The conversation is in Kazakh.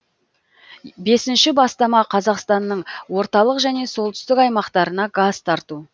бесінші бастама қазақстанның орталық және солтүстік аймақтарына газ тарту